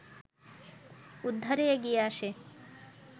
উদ্ধারে এগিয়ে আসে